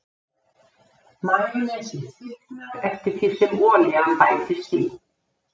Majónesið þykknar eftir því sem olían bætist í.